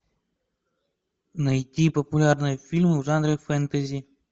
найти популярные фильмы в жанре фэнтези